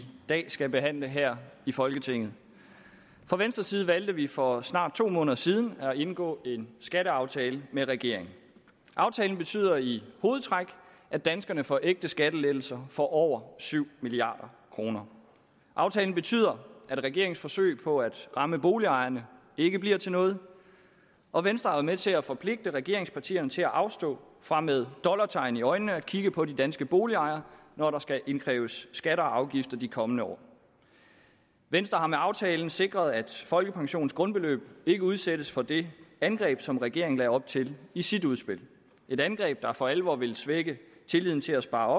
dag skal behandle her i folketinget fra venstres side valgte vi for snart to måneder siden at indgå en skatteaftale med regeringen aftalen betyder i hovedtræk at danskerne får ægte skattelettelser for over syv milliard kroner aftalen betyder at regeringens forsøg på at ramme boligejerne ikke bliver til noget og venstre har været med til at forpligte regeringspartierne til at afstå fra med dollartegn i øjnene at kigge på de danske boligejere når der skal indkræves skatter og afgifter i de kommende år venstre har med aftalen sikret at folkepensionens grundbeløb ikke udsættes for det angreb som regeringen lagde op til i sit udspil et angreb der for alvor ville svække tilliden til at spare